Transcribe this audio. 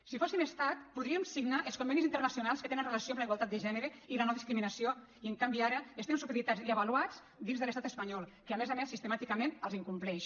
si fóssim estat podríem signar els convenis internacionals que tenen relació amb la igualtat de gènere i la nodiscriminació i en canvi ara estem supeditats i avaluats dins de l’estat espanyol que a més a més sistemàticament els incompleix